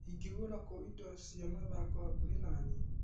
Ingĩgũra kũ indo cia mathako hakuhĩ na niĩ ?